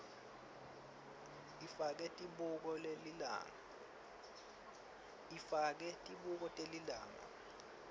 ifake tibuko telilanga